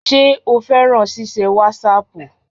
Ṣé o fẹ́ràn ṣíṣe wásaàpù?